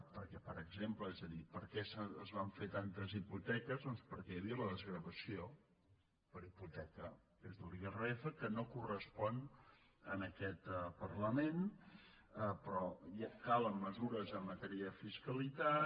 perquè per exemple és a dir per què es van fer tantes hipoteques doncs perquè hi havia la desgravació per hipoteca l’irpf que no correspon a aquest parlament però calen mesures en matèria de fiscalitat